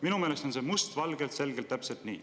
Minu meelest on see must valgel ja selgelt täpselt nii.